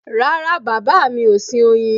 Rárá bàbá mi ò sin oyin